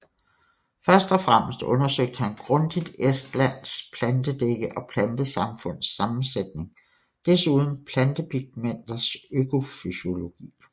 Først og fremmest undersøgte han grundigt Estlands plantedække og plantesamfunds sammensætning desuden plantepigmenters økofysiologi